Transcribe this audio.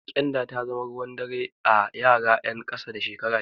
Ƙyanda ta zama ruwan dare a yara ƴan ƙasa da shekara biyar.